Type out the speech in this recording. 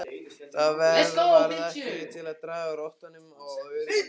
Það varð ekki til að draga úr óttanum og óörygginu.